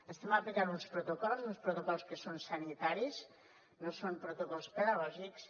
estem aplicant uns protocols uns protocols que són sanitaris no són protocols pedagògics